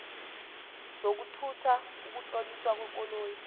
zokuthutha ukutloliswa kwekoloyi